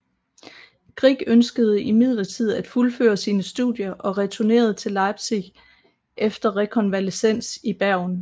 Grieg ønskede imidlertid at fuldføre sine studier og returnerede til Leipzig efter rekonvalesens i Bergen